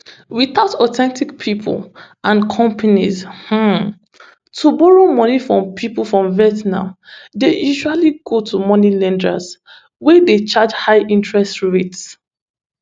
witout authentic pipo and companies um to borrow money from pipo for vietnam dey usually go to money lenders wey dey charge high interest rates